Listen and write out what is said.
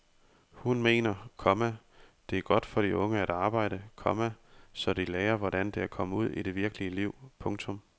Hun mener, komma det er godt for de unge at arbejde, komma så de lærer hvordan det er at komme ud i det virkelige liv. punktum